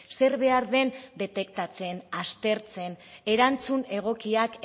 zer behar den detektatzen aztertzen erantzun egokiak